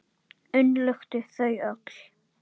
Umlukti þau öll.